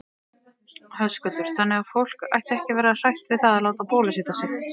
Höskuldur: Þannig að fólk ætti ekki að vera hrætt við það að láta bólusetja sig?